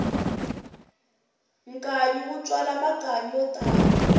nkanyi wu tswala makanyi yo tala